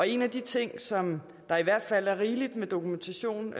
en af de ting som der i hvert fald er rigeligt med dokumentation